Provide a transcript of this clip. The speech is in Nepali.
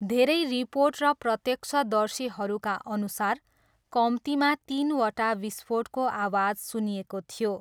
धेरै रिपोर्ट र प्रत्यक्षदर्शीहरूका अनुसार, कम्तीमा तिनवटा विस्फोटको आवाज सुनिएको थियो।